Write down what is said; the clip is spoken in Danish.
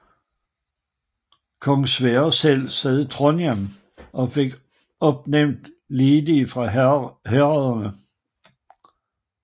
Kong Sverre selv sad i Trondheim og fik opnævnt leding fra herredene